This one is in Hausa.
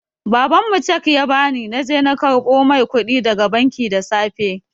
Baban mu cheque ya ba ni na je na karɓo mai kuɗi daga banki da safe.